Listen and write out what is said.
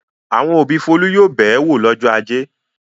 Àwọn òbí Folú yóò bẹ̀ ẹ́ wò lọ́jọ́ ajé.